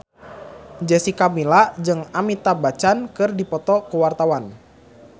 Jessica Milla jeung Amitabh Bachchan keur dipoto ku wartawan